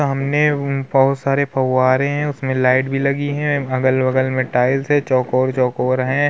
सामने बोहोत सारे फव्वारे हैं। उसमें लाइट भी लगी हैं। अगल-बगल में टाइल्स हैं चौकोर-चौकोर हैं।